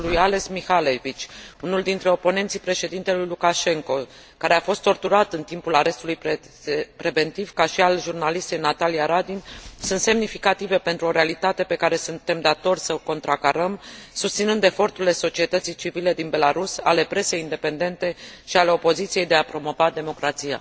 Cazul lui Ales Mikhalevich, unul dintre oponenții președintelui Lukashenko, care a fost torturat în timpul arestului preventiv, ca și al jurnalistei Natalia Radin, sunt semnificative pentru o realitate pe care suntem datori să o contracarăm, susținând eforturile societății civile din Belarus, ale presei independente și ale opoziției de a promova democrația.